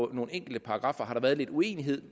nogle enkelte paragraffer har været lidt uenighed